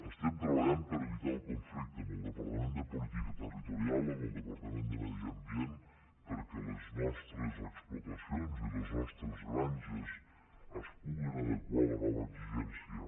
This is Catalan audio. estem treballant per evitar el conflicte amb el departament de política territorial amb el departament de medi ambient perquè les nostres explotacions i les nostres granges es puguen adequar a la nova exigència